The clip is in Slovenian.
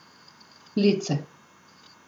Lice.